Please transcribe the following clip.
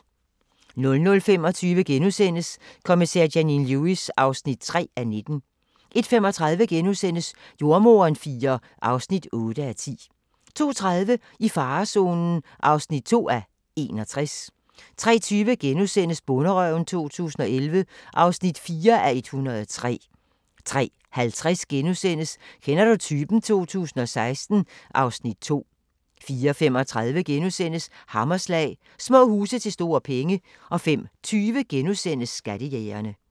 00:25: Kommissær Janine Lewis (3:19)* 01:35: Jordemoderen IV (8:10)* 02:30: I farezonen (2:61) 03:20: Bonderøven 2011 (4:103)* 03:50: Kender du typen? 2016 (Afs. 2)* 04:35: Hammerslag – Små huse til store penge * 05:20: Skattejægerne *